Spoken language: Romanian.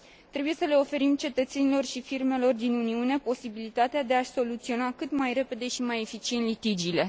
Trebuie să le oferim cetățenilor și firmelor din Uniune posibilitatea de a și soluționa cât mai repede și mai eficient litigiile.